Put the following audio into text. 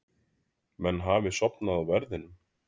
Menn hafi sofnað á verðinum?